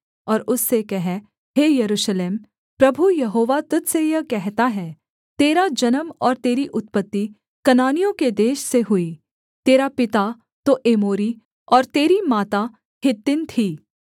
और उससे कह हे यरूशलेम प्रभु यहोवा तुझ से यह कहता है तेरा जन्म और तेरी उत्पत्ति कनानियों के देश से हुई तेरा पिता तो एमोरी और तेरी माता हित्तिन थी